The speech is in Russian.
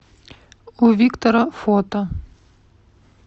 у виктора фото